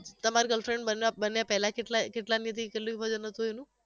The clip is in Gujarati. તમારી girlfriend બન્યા બન્યા પહેલા કેટલા કેટલા વજન હતુ એનું